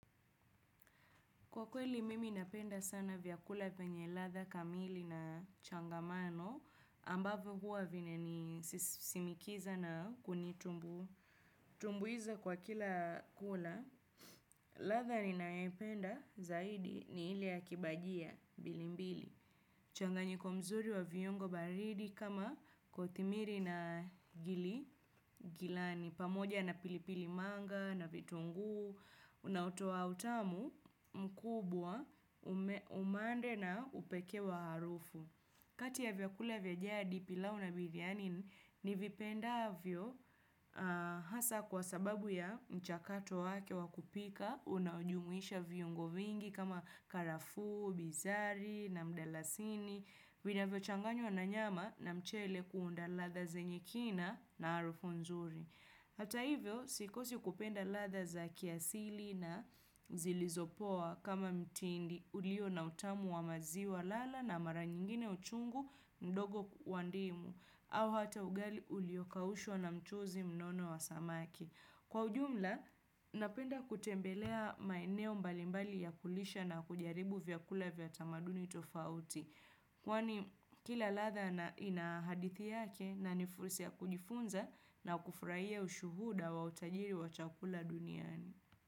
Kwa kweli mimi napenda sana vyakula venye ladha kamili na changamano, ambavo hua vina ni simikiza na kunitumbu. Tumbuiza kwa kila kula, ladha ni nayopenda zaidi ni ile ya kibajia mbilimbili. Mchanganyiko mzuri wa vyungo baridi kama kotimiri na gili, gilani. Ni pamoja na pilipili manga, na vitungu, unaotoa utamu mkubwa, umande na upekee wa harufu. Kati ya vyakula vya jadi pilau na biryani, ni vipenda avyo hasa kwa sababu ya mchakato wake wakupika, unaojumuisha vyungo vingi kama karafuu, bizari, na mdalasini, vinavyo changanywa nanyama na mchele kuunda ladha zenye kina na harufu nzuri. Hata hivyo, sikosi kupenda ladha za kiasili na zilizopoa kama mtindi ulio na utamu wa maziwa lala na mara nyingine uchungu ndogo wandimu. Au hata ugali ulio kaushwa na mchuzi mnono wa samaki. Kwa ujumla, napenda kutembelea maeneo mbalimbali ya kulisha na kujaribu vya kula vya tamaduni tofauti. Kwani kila ladha ina hadithi yake na nifurisi ya kujifunza na kufrahia ushuhuda wa utajiri wa chakula duniani.